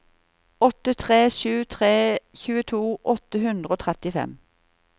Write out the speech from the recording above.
åtte tre sju tre tjueto åtte hundre og trettifem